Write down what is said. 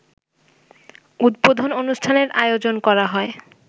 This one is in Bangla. উদ্বোধন-অনুষ্ঠানের আয়োজন করা হয়